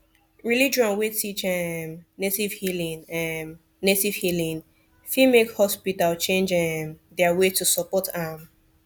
religion wey teach um native healing um native healing fit make hospital change um their way to support am